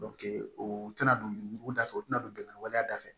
o tɛna don yuguda fɛ u tɛna don bɛnkan waleya da fɛ